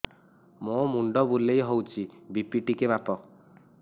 ମୋ ମୁଣ୍ଡ ବୁଲେଇ ହଉଚି ବି.ପି ଟିକେ ମାପ